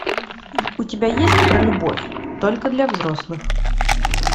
у тебя есть про любовь только для взрослых